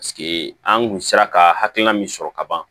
Paseke an kun sera ka hakilina min sɔrɔ ka ban